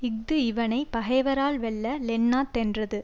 இஃது இவனை பகைவரால் வெல்ல லெண்ணா தென்றது